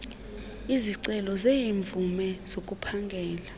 izicelo zeemvume zokuphangela